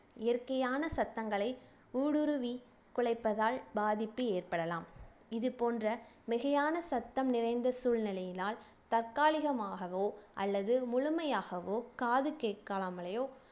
இயற்கையான சத்தங்களை ஊடுருவி குலைப்பதால் பாதிப்பு ஏற்படலாம் இது போன்ற மிகையான சத்தம் நிறைந்த சூழ்நிலையினால் தற்காலிகமாகவோ அல்லது முழுமையாகவோ காது கேட்காமலேயோ